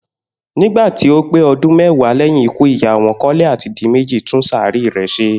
Nígbà tí ó pé o̩dún mé̩wàá lé̩yìn ikú ìyá wo̩n, Kó̩la àti Diméjì tún sàréè rè̩ s̩e